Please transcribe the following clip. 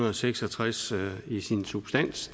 og seks og tres i sin substans